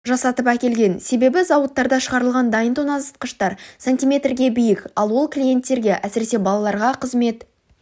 жасатып әкелген себебі зауыттарда шығарылған дайын тоңазытқыштар сантиметрге биік ал ол клиенттерге әсіресе балаларға қызмет